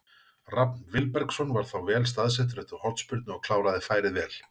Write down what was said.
Rafn Vilbergsson var þá vel staðsettur eftir hornspyrnu og kláraði færið vel.